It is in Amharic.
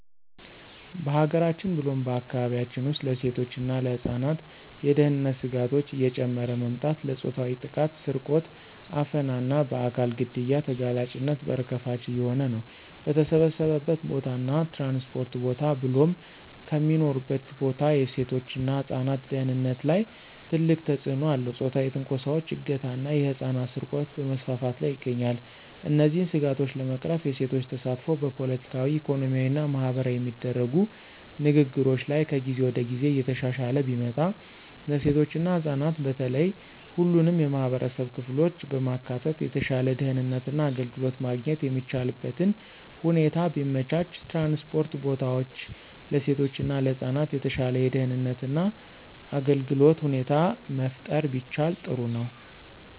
በሀገራችን ብሎም በአካባቢያችን ውስጥ ለሴቶች እና ለህፃናት የደህንነት ስጋቶች እየጨመረ መምጣት ለፆታዊ ጥቃት፣ ስርቆት፣ አፈና እና በአካል ግድያ ተጋላጭነት በር ከፋች እየሆነ ነው። በተሰበሰበበት ቦታ እና ትራንስፖርት ቦታ ብሎም ከሚኖሩበት ቦታ የሴቶች እና ህፃናት ደህንነት ላይ ትልቅ ተጽእኖ አለው ፆታዊ ትንኮሳዎች፣ እገታ ና የህፃናት ስርቆት በመስፋፋት ላይ ይገኛል። እነዚህን ስጋቶች ለመቅረፍ የሴቶች ተሳትፎ በፖለቲካዊ፣ ኢኮኖሚያዊ እና ማህበራዊ የሚደረጉ ንግግሮች ላይ ከጊዜ ወደ ጊዜ እየተሻሻለ ቢመጣ፣ ለሴቶች እና ህፃናት በተለየ ሁሉንም የማህበረሰብ ክፍሎች በማካተት የተሻለ ደህንነት እና አገልግሎት ማግኘት የሚቻልበትን ሁኔታ ቢመቻች፣ ትራንስፖርት ቦታዎች ለሴቶች እና ለህፃናት የተሻለ የደህንነት እና አገልግሎት ሁኔታ መፍጠር ቢቻል ጥሩ ነው።